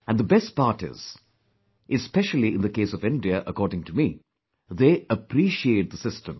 And the best part is; especially in the case of India; according to me, they appreciate the system